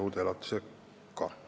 Aitäh!